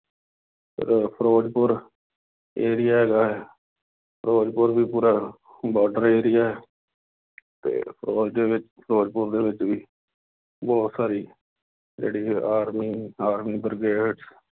ਫੇਰ ਫਿਰੋਜ਼ਪੁਰ area ਹੈਗਾ ਹੈ, ਫਿਰੋਜ਼ਪੁਰ ਵੀ ਪੂਰਾ border area ਅਤੇ ਉਸ ਦੇ ਵਿੱਚ ਫਿਰੋਜ਼ਪਰ ਦੇ ਵਿੱਚ ਵੀ ਬਹੁਤ ਸਾਰੀ ਜਿਹੜੀ ਹੈ army, army ਬ੍ਰਿਗੇਡ